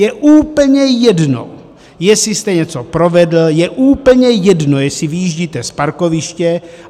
Je úplně jedno, jestli jste něco provedl, je úplně jedno, jestli vyjíždíte z parkoviště.